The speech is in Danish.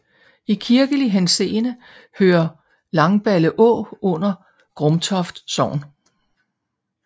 I kirkelig henseende hører Langballeå under Grumtoft Sogn